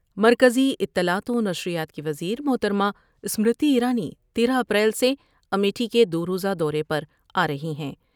مرکزی اطلاعات و نشریات کی وزیر محترمہ اسمرتی ایرانی تیرہ اپریل سے امیٹھی کے دو روزہ دورے پر آ رہی ہیں ۔